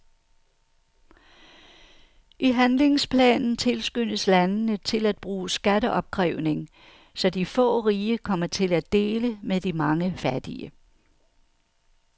I handlingsplanen tilskyndes landene til at bruge skatteopkrævning, så de få rige kommer til at dele med de mange fattige.